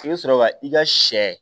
I bɛ sɔrɔ ka i ka sɛ